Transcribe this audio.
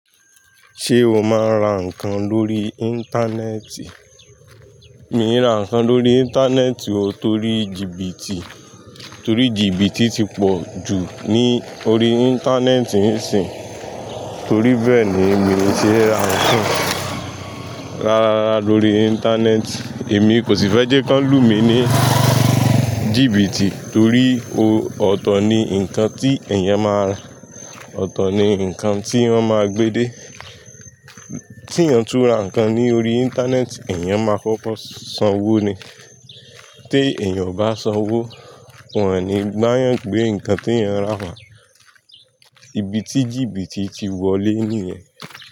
Ṣé o máa ń ra nǹkan lórí Íńtánẹ́ẹ̀tì? Mi ò rá nǹkan lórí Íńtánẹ́ẹ̀tì o, torí jìbìtì, torí jìbìtì ti pọ̀ jù ní orí Íńtánẹ́ẹ̀tì ń sin. Torí bẹ́ẹ̀ ni mii ṣe é ra nǹkan. Rárárara lórí Íńtánẹ́ẹ̀tì, èmi kò sì fẹ́ jẹ́ kí wọ́n lù mí ní jìbìtì torí o, ọ̀tọ̀ ni nǹkan tí èèyàn máa rá, ọ̀tọ̀ ni nǹkan tí wọ́n máa gbé dé. Tí èèyàn túra nǹkan ní orí Íńtánẹ́ẹ̀tì, èèyàn máa kọ́kọ́ sanwó ni. Tí èèyàn ò bá sanwó, wọ́n ò ní ba'yàn gbé nǹkan tí èèyàn rà wá. Ibi tí jìbìtì ti wọlé nìyẹn.